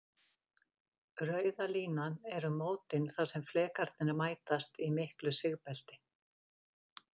Rauða línan eru mótin þar sem flekarnir mætast, í miklu sigbelti.